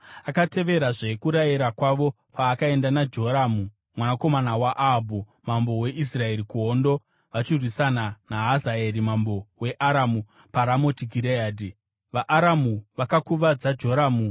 Akateverazve kurayira kwavo paakaenda naJoramu mwanakomana waAhabhu mambo weIsraeri kuhondo vachirwisana naHazaeri mambo weAramu paRamoti Gireadhi. VaAramu vakakuvadza Joramu.